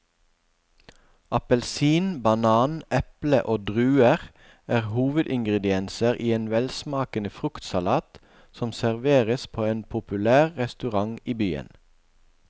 Appelsin, banan, eple og druer er hovedingredienser i en velsmakende fruktsalat som serveres på en populær restaurant i byen.